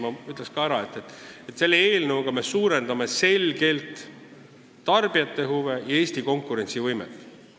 Ma ütleksin ka, et selle eelnõuga me arvestame selgelt enam tarbijate huve ja parandame Eesti konkurentsivõimet.